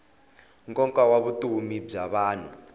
nkoka wa vutomi bya vanhu